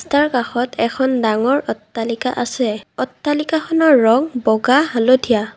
ৰাস্তাৰ কাষত এখন ডাঙৰ অট্টালিকা আছে অট্টালিকাখনৰ ৰঙ বগা হালধীয়া।